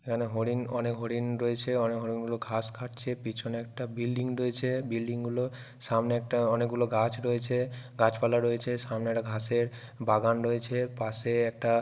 এখানে হরিণ অনেক হরিণ রয়েছে অনেক হরিণ গুলো ঘাস খাচ্ছে পিছনে একটা বিল্ডিং রয়েছে বিল্ডিং গুলো সামনে একটা অনেক গুলো গাছ রয়েছে গাছপালা রয়েছে সামনে একটা ঘাসের বাগান রয়েছে পাশে একটা --